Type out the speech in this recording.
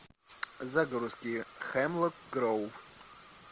загрузки хемлок гроув